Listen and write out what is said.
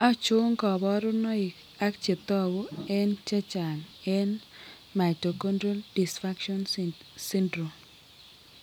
Achon kaborunoik ak chetogu eng' chechang' eng mitochondrial dysfunctions syndrome